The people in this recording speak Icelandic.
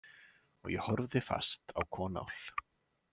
Og ég horfði fast á Konál.